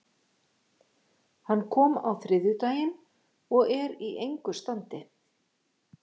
Hann kom á þriðjudaginn og er í engu standi.